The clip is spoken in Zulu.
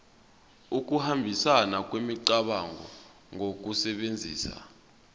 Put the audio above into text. ukuhambisana kwemicabango ngokusebenzisa